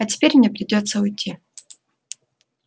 а теперь мне придётся уйти